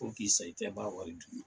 Fɔ k'i sa, i tɛ ban a wari dunni la.